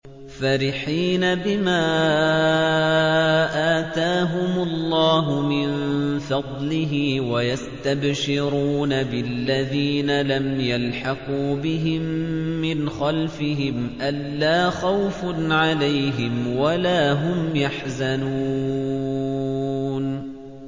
فَرِحِينَ بِمَا آتَاهُمُ اللَّهُ مِن فَضْلِهِ وَيَسْتَبْشِرُونَ بِالَّذِينَ لَمْ يَلْحَقُوا بِهِم مِّنْ خَلْفِهِمْ أَلَّا خَوْفٌ عَلَيْهِمْ وَلَا هُمْ يَحْزَنُونَ